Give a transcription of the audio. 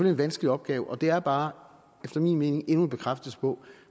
en vanskelig opgave og det er bare efter min mening endnu en bekræftelse på